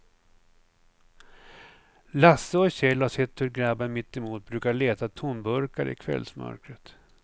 Lasse och Kjell har sett hur gubben mittemot brukar leta tomburkar i kvällsmörkret.